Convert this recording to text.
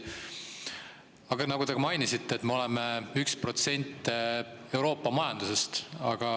Aga nagu te ka mainisite, oleme 1% Euroopa majandusest.